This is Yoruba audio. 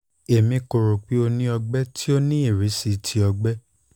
emi ko ro pe o ni ọgbẹ ti o ni irisi ti ọgbẹ